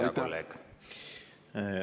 Aitäh, hea kolleeg!